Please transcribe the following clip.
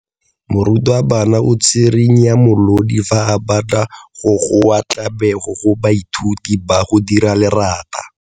Morutwabana o tswirinya molodi fa a batla go goa tlabego go baithuti ba go dira lerata.